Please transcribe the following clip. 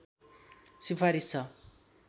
सिफारिस छ